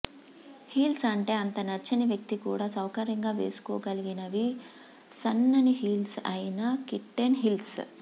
heels అంటే అంత నచ్చని వ్యక్తి కూడా సౌకర్యంగా వేసుకోగలిగినవి సన్నని హీల్స్ అయిన కిట్టెన్ హీల్స్